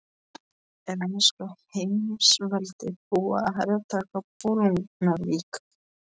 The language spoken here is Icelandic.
Er enska heimsveldið búið að hertaka Bolungarvík?